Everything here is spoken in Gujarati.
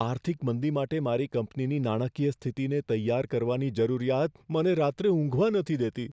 આર્થિક મંદી માટે મારી કંપનીની નાણાકીય સ્થિતિને તૈયાર કરવાની જરૂરિયાત મને રાત્રે ઊંઘવા નથી દેતી.